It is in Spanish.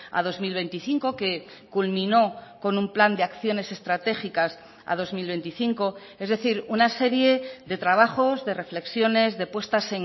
a dos mil veinticinco que culminó con un plan de acciones estratégicas a dos mil veinticinco es decir una serie de trabajos de reflexiones de puestas